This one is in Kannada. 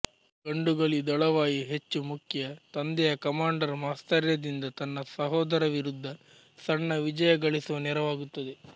ಗಂಡುಗಲಿ ದಳವಾಯಿ ಹೆಚ್ಚು ಮುಖ್ಯ ತಂದೆಯ ಕಮಾಂಡರ್ ಮಾತ್ಸರ್ಯದಿಂದ ತನ್ನ ಸಹೋದರ ವಿರುದ್ಧ ಸಣ್ಣ ವಿಜಯ ಗಳಿಸುವ ನೆರವಾಗುತ್ತದೆ